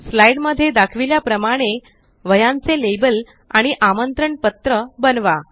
slide मध्ये दाखविल्याप्रमाणे वह्यांचे लेबल आणि आमंत्रण पत्र बनवा